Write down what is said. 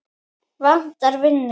Vantar vinnu